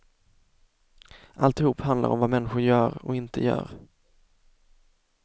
Alltihop handlar om vad människor gör och inte gör.